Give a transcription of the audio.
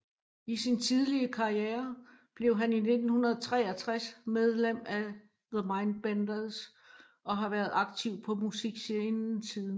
I sin tidlige karriere blev han i 1963 medlem af The Mindbenders og har været aktiv på musikscenen siden